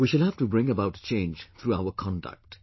We shall have to bring about a change through our conduct